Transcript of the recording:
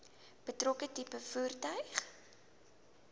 betrokke tipe voertuig